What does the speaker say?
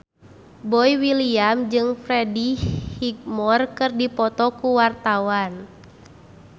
Boy William jeung Freddie Highmore keur dipoto ku wartawan